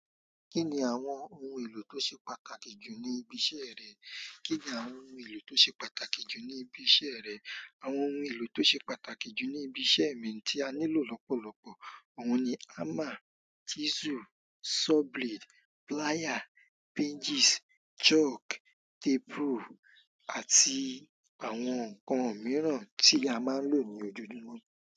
Kí ni àwọn ohun èlò tó ṣe pàtàkì jù ní ibi iṣẹ́ rẹ? Kí ni àwọn ohun èlò tó ṣe pàtàkì jù ní ibi iṣẹ́ rẹ? Àwọn ohun èlò tó ṣe pàtàkì jù ní ibi iṣẹ́ mi tí a nílò lọ́pọ̀lọpọ̀, àwọn ni hammer, chisel, saw blade, plier, hinges, chalk, tape rule àti àwọn nǹkan mìíràn tí a máa ń lò ní òjoojumo.